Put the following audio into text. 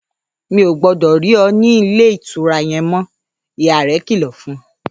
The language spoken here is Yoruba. ‘Mi ò gbó̩dò̩ rí o̩ ní ilé ìtura ye̩n mó̩!’, ìyá rè̩ kìlò̩ fun